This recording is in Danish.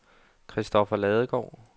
Kristoffer Ladegaard